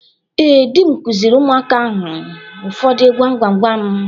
Ee, di m kụziiri ụmụaka anyị ụfọdụ gwam gwam gwam.